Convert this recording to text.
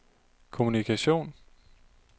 kommunikation